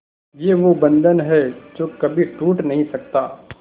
ये वो बंधन है जो कभी टूट नही सकता